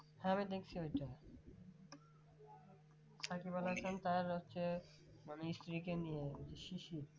হ্যাঁ আমি দেখছি ওটা তার আছে মানে স্ত্রীকে নিয়ে শিশির